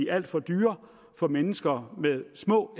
alt for dyre for mennesker med små